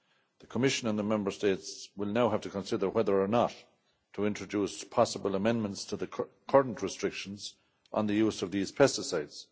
The Commission and the Member States will now have to consider whether or not to introduce possible amendments to the current restrictions on the use of these pesticides.